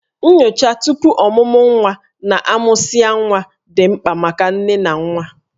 Nyocha tupu ọmụmụ nwa ya na a mụsịa nwa dị mkpa maka nne na nwa